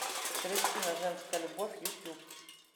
кристина женская любовь ютуб